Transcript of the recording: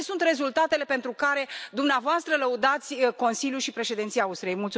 Care sunt rezultatele pentru care dumneavoastră lăudați Consiliul și Președinția Austriei?